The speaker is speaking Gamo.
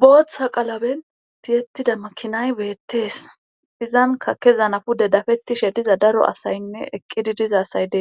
booththa qalaben tiyettida makinay beettees izan kakezanapude dafettishe diza daro asaynne eqqidi diza asay dee